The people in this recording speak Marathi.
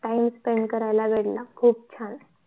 time spend करायला भेटला खूप छान